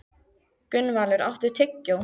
Gunnvaldur, áttu tyggjó?